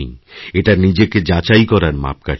এটা নিজেকে যাচাই করার মাপকাঠি